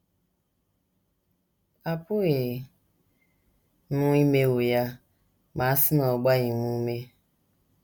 Apụghị m imewo ya ma a sị na ọ gbaghị m ume.